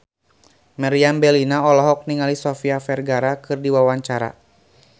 Meriam Bellina olohok ningali Sofia Vergara keur diwawancara